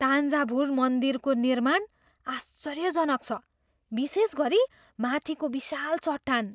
तान्जाभुर मन्दिरको निर्माण आश्चर्यजनक छ, विशेष गरी माथिको विशाल चट्टान।